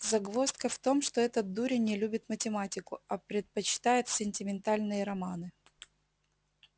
загвоздка в том что этот дурень не любит математику а предпочитает сентиментальные романы